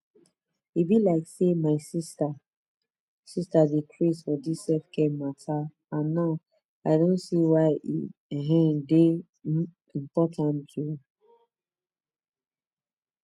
e be like say my sister sister dey craze for dis selfcare matter and now i don see why e um dey um important oh